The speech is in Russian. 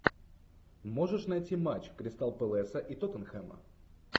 можешь найти матч кристал пэласа и тоттенхэма